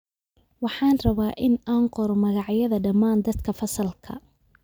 Waxaan rabaa in aan qoro magacyada dhammaan dadka fasalka